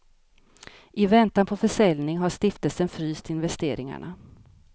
I väntan på försäljning har stiftelsen fryst investeringarna.